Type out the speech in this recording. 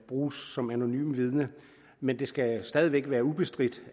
bruges som anonyme vidner men det skal stadig væk være ubestridt